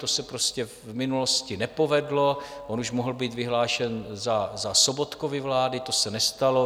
To se prostě v minulosti nepovedlo - on už mohl být vyhlášen za Sobotkovy vlády, to se nestalo.